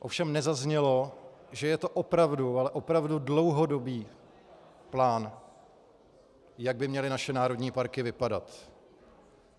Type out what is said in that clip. Ovšem nezaznělo, že je to opravdu, ale opravdu dlouhodobý plán, jak by měly naše národní parky vypadat.